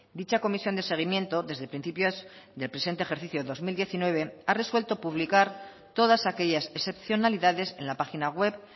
dicha comisión de seguimiento desde principios del presente ejercicio dos mil diecinueve ha resuelto publicar todas aquellas excepcionalidades en la página web